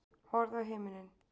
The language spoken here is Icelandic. Horfðu á himininn.